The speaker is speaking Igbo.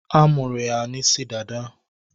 A munyere ya n'isi dada